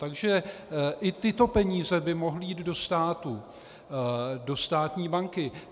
Takže i tyto peníze by mohly jít do státu, do státní banky.